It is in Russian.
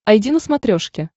айди на смотрешке